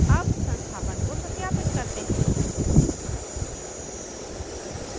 अब संस्थापन को सत्यापित करते हैं